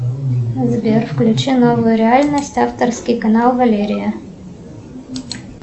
сбер включи новую реальность авторский канал валерия